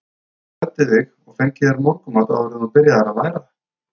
Að þú klæddir þig og fengir þér morgunmat áður en þú byrjaðir að læra?